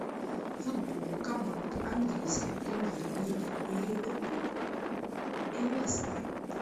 футбол команд английской премьер лиги ливерпуль и лестер